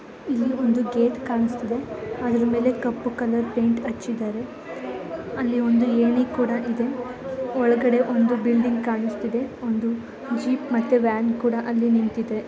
ಇಲ್ಲಿ ಒಂದು ಗೇಟ್ ಕಾಣ್ಸ್ತಿದೆ ಅದ್ರು ಮೇಲೆ ಅಲ್ಲಿ ಕಪ್ಪು ಕಲರ್ ಪೈಂಟ್ ಹಚ್ಚಿದ್ದಾರೆ ಅಲ್ಲಿ ಒಂದು ಏಣಿ ಕೂಡ ಇದೆ ಒಳಗಡೆ ಒಂದು ಬಿಲ್ಡಿಂಗ್ ಕಾಣ್ಸ್ತಿದೆ ಒಂದು ಜೀಪ್ ಮತ್ತೆ ವ್ಯಾನ್ ಕೂಡ ಅಲ್ಲಿ ನಿಂತ್ತಿದೆ.